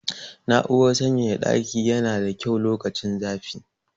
Na'urar sanyaya ɗaki yana da kyau lokacin zafi.